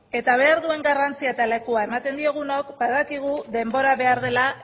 eta behar duen garrantzia eta lekua ematen diogunok badakigu denbora behar dela